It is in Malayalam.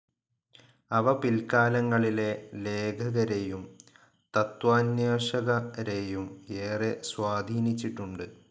അവ പിൽക്കാലങ്ങളിലെ ലേഖകരെയും തത്വാന്വേഷകരെയും ഏറെ സ്വാധീനിച്ചിട്ടുണ്ട്.